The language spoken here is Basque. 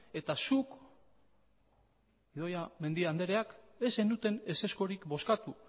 eta zuk idoia mendia andereak ez zenuten ezezkorik bozkatu